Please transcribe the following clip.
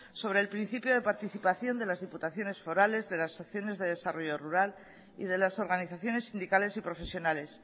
sobre el principio de participación de las diputaciones forales de las acciones de desarrollo rural y de las organizaciones sindicales y profesionales